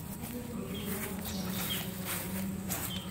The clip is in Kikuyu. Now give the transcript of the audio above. cokagĩra ũndũ ũyũ wagatano ciothe karenda-inĩ yakwa